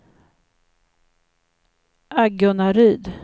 Agunnaryd